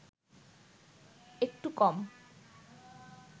একটু কম